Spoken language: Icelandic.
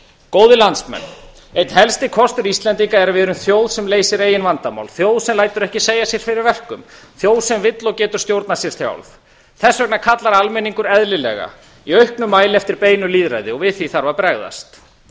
góðir landsmenn einn helsti kostur íslendinga er að við erum þjóð sem leysir eigin vandamál þjóð sem lætur ekki segja sér fyrir verkum þjóð sem vill og getur stjórnað sér sjálf þess vegna kallar almenningur eðlilega í auknum mæli eftir beinu lýðræði við því þarf að bregðast